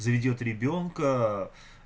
заведёт ребёнка